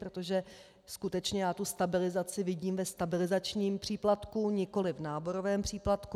Protože skutečně já tu stabilizaci vidím ve stabilizačním příplatku, nikoli v náborovém příplatku.